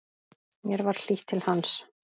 Mér var hlýtt til hans.